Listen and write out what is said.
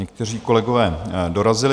Někteří kolegové dorazili.